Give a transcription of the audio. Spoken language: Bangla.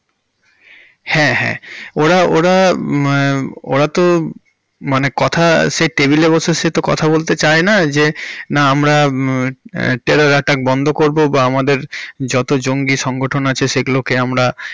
হ্যাঁ হ্যাঁ ওরা~ওরা হমমম ওরা তো মানে কথা সে table এ বসে সে তো কথা বলতে চাইনা যে আমরা terror attack বন্ধ করবো বা আমাদের যত জঙ্গি সংগঠন আছে সেগুলোকে আমরা।